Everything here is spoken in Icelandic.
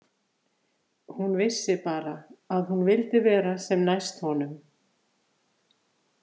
Hún vissi bara að hún vildi vera sem næst honum.